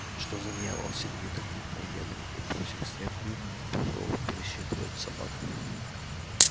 что за дьявол сердито крикнул генри и бросив стряпню пошёл пересчитывать собак